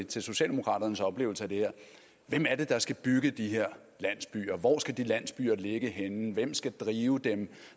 til socialdemokraternes oplevelse af det her hvem er det der skal bygge de her landsbyer hvor skal de landsbyer ligge henne hvem skal drive dem